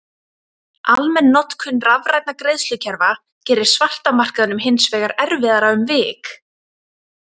Almenn notkun rafrænna greiðslukerfa gerir svarta markaðnum hins vegar erfiðara um vik.